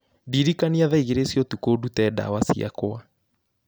ndĩrikania thaa igĩrĩ cia ũtukũ, ndute ndawa ciakwa